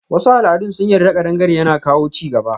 Wasu al'adun sun yarda kadangare yana kawo chigaba.